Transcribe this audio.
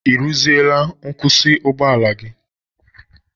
Ị rụziela nkwusi ụgbọala gi?